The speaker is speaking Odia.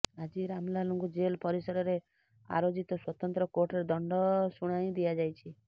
ଆଜି ରାମଲାଲଙ୍କୁ ଜେଲ ପରିସରରେ ଆ୍େରାଜିତ ସ୍ୱତନ୍ତ କୋର୍ଟରେ ଦଣ୍ଡ ଶୁଣାଇ ଦିଆଯାଇଛି